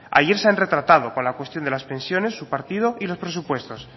ayer se han retratado con la cuestión de las pensiones su partido y los presupuestos